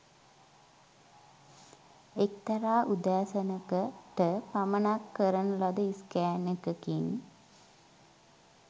එක්තරා උදෑසනක . ට පමණ කරන ලද ස්කෑන් එකකින්